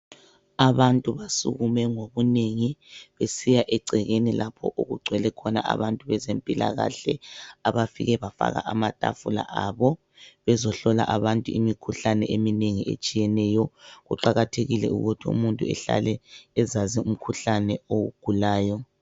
Abantu basukume ngobunengi, besiya egcikeni lapho okugcwele khona abantu bezempilakahle. Abafuke bagaka amatafula abo bezohlala abantu imikhuhlane eminengi etshiyeneyo. Kuqakathekile ukuthi umuntu ehlale ezazi umkhuhlane awugulayo.